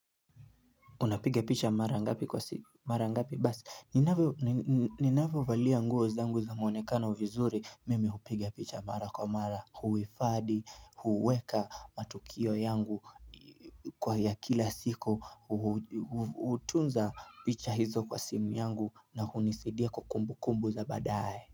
Unapiga picha mara ngapi kwa simu, mara ngapi basi, ninavyo valia nguo zangu za mwonekana vizuri, mimi hupigia picha mara kwa mara, huhifadhi, huweka matukio yangu kwa ya kila siku, hutunza picha hizo kwa simu yangu na hunisaidia kwa kumbu kumbu za baadaye.